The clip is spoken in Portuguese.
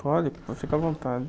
Pode, fique à vontade.